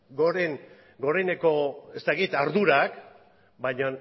goreneko ardurak bainan